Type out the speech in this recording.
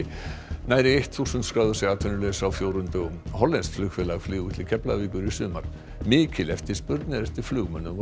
nærri þúsund skráðu sig atvinnulausa á fjórum dögum hollenskt flugfélag flýgur til Keflavíkur í sumar mikil eftirspurn er eftir flugmönnum WOW